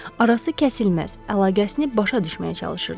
arası kəsilməz əlaqəsini başa düşməyə çalışırdı.